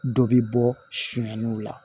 Dɔ bi bɔ sɛnɛnɛniw la